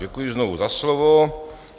Děkuji znovu za slovo.